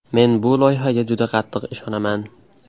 Men bu loyihaga juda qattiq ishonaman.